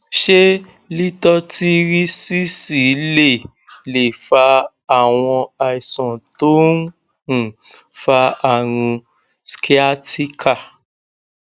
ṣé lítọtírísísì lè lè fa àwọn àìsàn tó ń um fa àrùn sciatica